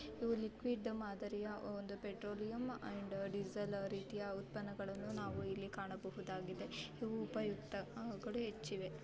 ಇದು ಲಿಕ್ವಿಡ್ ಮಾದರಿಯ ಒಂದು ಪೆಟ್ರೋಲೆಯಂ ಅಂಡ್ ಡೀಸೆಲ್ ರೀತಿಯ ಉತ್ಪನ್ನ್ಗಳ್ಳನು ನಾವು ಇಲ್ಲಿ ಕಾಣಬಹುದಾಗಿದೆ ಇವು ಉಪಯುಕ್ತ ಆ ಕಡೆ ಹೆಚ್ಚಿವೆ